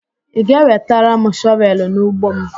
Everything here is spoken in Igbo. Ị ga-ewetara m shọvelụ n'ugbo m?